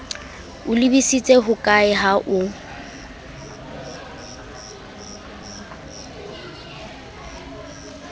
o lebisitse hokae ha o